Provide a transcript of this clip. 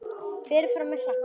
Berið fram með klaka.